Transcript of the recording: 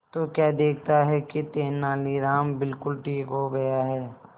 तो क्या देखता है कि तेनालीराम बिल्कुल ठीक हो गया है